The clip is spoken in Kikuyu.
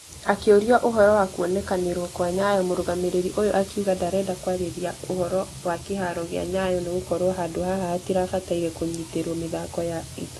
Akĩorio ũhoro wa kuonekanakwanyayo mũrũgamĩrĩri ũyũ akĩuga ndarenda kwarĩria ũhoro wa kĩharo gĩa nyayo nĩgũkorwo handũ haha hatirabatairie kũnyiterwo mĩthako ya itũra.